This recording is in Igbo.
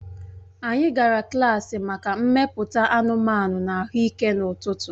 Anyị gara klaasị maka mmepụta anụmanụ na ahụike n'ụtụtụ